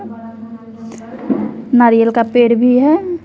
नारियल का पेड़ भी है।